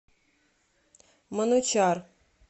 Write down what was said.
манучар